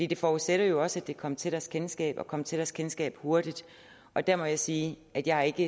det forudsætter jo også at det kommer til deres kendskab og kommer til deres kendskab hurtigt og der må jeg sige at jeg ikke